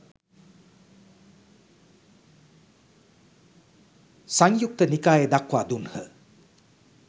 සංයුක්ත නිකාය දක්වා දුන්හ